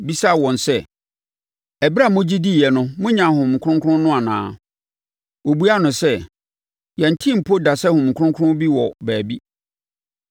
bisaa wɔn sɛ, “Ɛberɛ a mogye diiɛ no, monyaa Honhom Kronkron no anaa?” Wɔbuaa no sɛ, “Yɛntee mpo da sɛ Honhom Kronkron bi wɔ baabi.”